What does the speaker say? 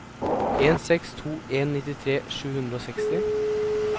en seks to en nittitre sju hundre og seksti